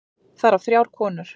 Þar af þrjár konur.